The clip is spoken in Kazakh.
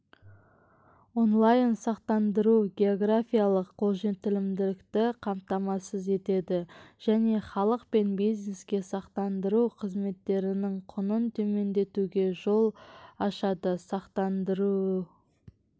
онлайн-сақтандыру географиялық қолжетімділікті қамтамасыз етеді және халық пен бизнеске сақтандыру қызметтерінің құнын төмендетуге жол ашады сақтандыру